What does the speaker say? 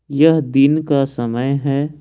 यह दिन का समय है।